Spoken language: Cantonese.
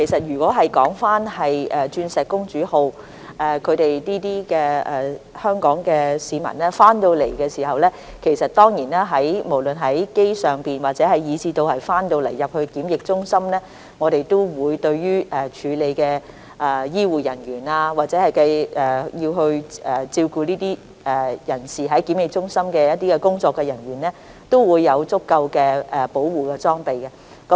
如果是鑽石公主號的香港市民，不論是在航機上或他們到港後入住檢疫中心，我們當然會向處理這些人士的醫護人員或在檢疫中心照顧這些人士的工作人員，提供足夠的保護裝備。